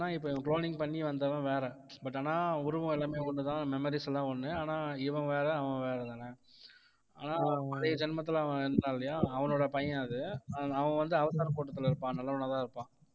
வில்லன்னா இப்போ இவன் cloning பண்ணி வந்தவன் வேற but ஆனா உருவம் எல்லாமே ஒண்ணுதான் memories எல்லாம் ஒண்ணு ஆனா இவன் வேற அவன் வேற தான் ஆனா பழைய ஜென்மத்துல அவன் இருந்தான் இல்லையா அவனோட பையன் அது அவன் வந்து அவதார் கூட்டத்துல இருப்பான் நல்லவனாதான் இருப்பான்